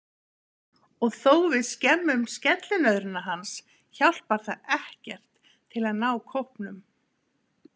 Og þó við skemmum skellinöðruna hans hjálpar það ekkert til að ná kópnum.